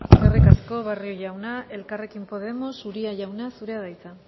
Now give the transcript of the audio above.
eskerrik asko barrio jauna elkarrekin podemos uria jauna zurea da hitza